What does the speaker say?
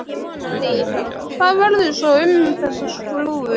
Lillý: Hvað verður svo um þessa skrúfu?